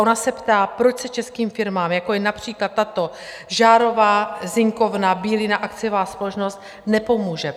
Ona se ptá: Proč se českým firmám, jako je například tato Žárová zinkovna Bílina, akciová společnost, nepomůže?